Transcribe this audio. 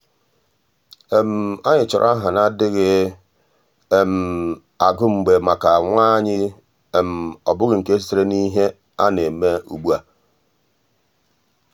ànyị́ um chọ́rọ́ áhà nà-adị́ghị um agụ mgbe màkà nwa anyị́ um ọ́ bụ́ghị́ nke sitere n’ìhè nà-èmé ugbu a.